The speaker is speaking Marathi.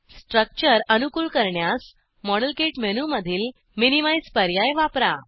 स्ट्रक्चर अनुकूल करण्यास मॉडेलकिट मेनूमधील मिनिमाइझ पर्याय वापरा